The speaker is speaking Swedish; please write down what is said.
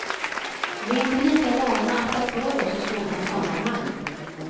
Vi är inte lika vana att ta för oss i sådana sammanhang.